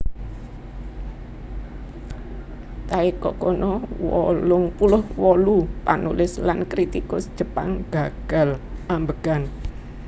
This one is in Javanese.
Taeko Kono wolung puluh wolu panulis lan kritikus Jepang gagal ambegan